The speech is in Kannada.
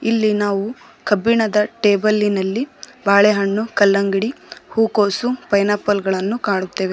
ಇಲ್ಲಿ ನಾವು ಕಬ್ಬಿಣದ ಟೇಬಲಿ ನಲ್ಲಿ ಬಾಳೆ ಹಣ್ಣು ಕಲ್ಲಂಗಡಿ ಹುಕೊಸು ಪೈನಾಪಲ್ ಗಳನ್ನು ಕಾಣುತ್ತೆವೆ.